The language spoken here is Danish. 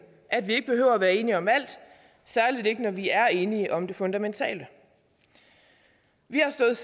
at vi ikke behøver være enige om alt særlig ikke når vi er enige om det fundamentale vi har stået